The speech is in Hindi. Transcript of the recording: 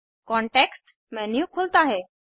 कांटेक्स्ट मेन्यू खुलता है